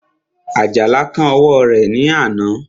Àjàlá kán ọwọ́ rẹ̀ ní àná